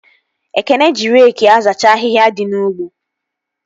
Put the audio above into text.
Ekene ji reki azacha ahịhịa dị n'ugbo